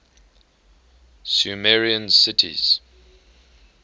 sumerian cities